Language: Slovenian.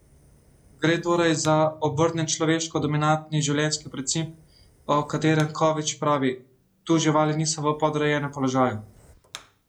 Gre torej za obrnjen človeško dominantni življenjski princip, o katerem Kovič pravi: "Tu živali niso v podrejenem položaju.